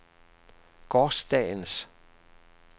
gårsdagens